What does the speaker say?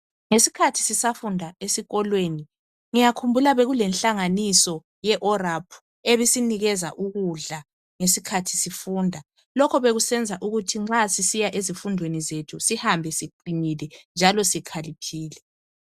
Ngesikhathi sisafunda esikolweni ngiyakhumbula bekulenhlanganiso ye ORAP , ebisinikeza ukudla ngesikhathi sifunda , lokho bekusenza ukuthi nxa sisiya esifundweni sethu sihambe siqinile njalo sikhaliphile